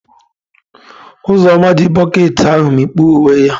Uzoma ji bokiti ahu mikpuo uwe ya.